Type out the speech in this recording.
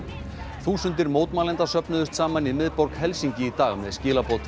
þúsundir mótmælenda söfnuðust saman í miðborg Helsinki í dag með skilaboð til